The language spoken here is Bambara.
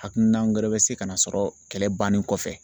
Hakilina wɛrɛ bɛ se ka na sɔrɔ kɛlɛ bannen kɔfɛ